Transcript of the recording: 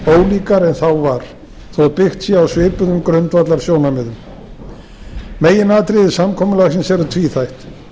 ólíkari en þá var þótt byggt sé á svipuðum grundvallarsjónarmiðum meginatriði samkomulagsins eru tvíþætt